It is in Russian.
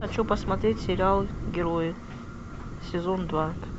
хочу посмотреть сериал герои сезон два